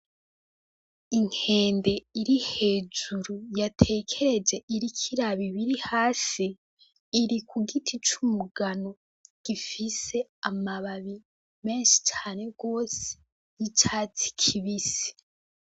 Inkende iri hejuru yatekereje iriko iraba ibiri hasi, iri ku giti c'umugano gifise amababi menshi cane gose y'icatsi kibisi.